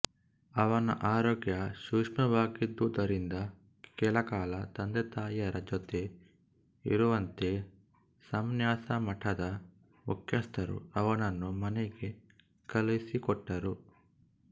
ಅವನ ಆರೋಗ್ಯ ಸೂಕ್ಷ್ಮವಾಗಿದ್ದುದರಿಂದ ಕೆಲಕಾಲ ತಂದೆತಾಯಿಯರ ಜೊತೆ ಇರುವಂತೆ ಸಂನ್ಯಾಸ ಮಠದ ಮುಖ್ಯಸ್ಥರು ಅವನನ್ನು ಮನೆಗೆ ಕಳಿಸಿಕೊಟ್ಟರು